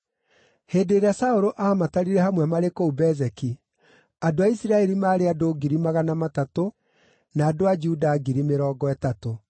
Hĩndĩ ĩrĩa Saũlũ aamatarire hamwe marĩ kũu Bezeki, andũ a Isiraeli maarĩ andũ ngiri magana matatũ na andũ a Juda ngiri mĩrongo ĩtatũ.